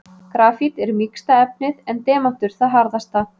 Grafít er mýksta efnið en demantur það harðasta.